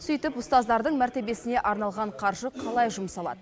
сөйтіп ұстаздардың мәртебесіне арналған қаржы қалай жұмсалады